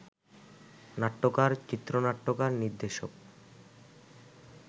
নাট্যকার, চিত্রনাট্যকার, নির্দেশক